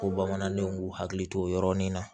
Ko bamanandenw k'u hakili to o yɔrɔnin na